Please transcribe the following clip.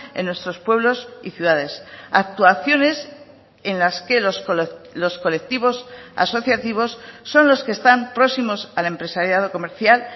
en nuestros pueblos y ciudades actuaciones en las que los colectivos asociativos son los que están próximos al empresariado comercial